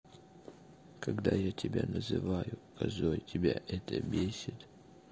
когда я тебя называю козой тебя это бесит